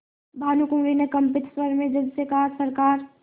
भानुकुँवरि ने कंपित स्वर में जज से कहासरकार